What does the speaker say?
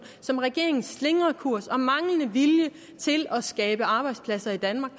som regeringens slingrekurs og manglende vilje til at skabe arbejdspladser i danmark